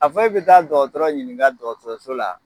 A fɔ e be taa dɔgɔtɔrɔ ɲininka dɔgɔtɔrɔso la